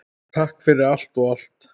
Takk fyrir allt og allt!